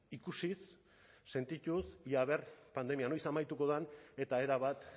ikusiz sentituz ea aber pandemia noiz amaituko den eta erabat